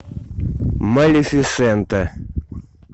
малефисента